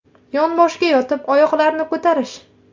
Yonboshga yotib oyoqlarni ko‘tarish.